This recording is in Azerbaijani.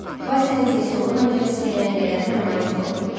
Basilin sonu məncə siz deyən qədər də romantik olmayıb.